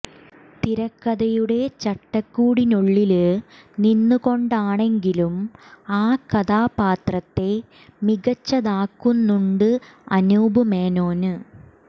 തിരക്കഥയുടെ ചട്ടക്കൂട്ടിനുള്ളില് നിന്ന് കൊണ്ടാണെങ്കിലും ആ കഥാപാത്രത്തെ മികച്ചതാക്കുന്നുണ്ട് അനൂപ് മേനോന്